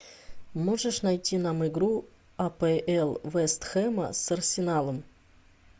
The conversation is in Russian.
можешь найти нам игру апл вест хэма с арсеналом